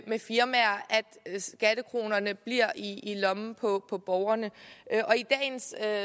med firmaer bliver i lommen på borgerne